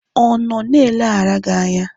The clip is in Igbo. Ọ nọ na-eleghara gị anya?